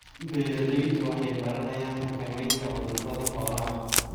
Beeraleydu waxay baranayaan xakameynta cudurrada xoolaha.